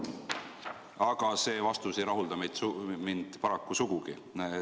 Aga see vastus ei rahulda meid paraku sugugi.